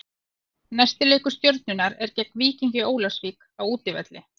Næsti leikur Stjörnunnar er gegn Víkingi Ólafsvík á útivelli.